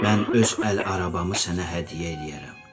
Mən öz əl arabamı sənə hədiyyə eləyərəm.